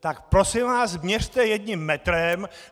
Tak prosím vás, měřte jedním metrem!